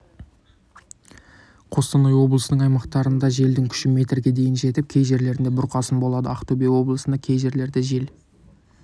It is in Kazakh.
қостанай облысының аймақтарындажелдің күші мерге дейін жетіп кей жерлерде бұрқасын болады ақтөбе облысында кей жерлерде жел